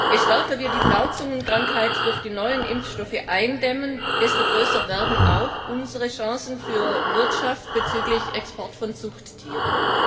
Je stärker wir die Blauzungenkrankheit durch die neuen Impfstoffe eindämmen, desto größer werden auch unsere Chancen für die Wirtschaft bezüglich des Exports von Zuchttieren.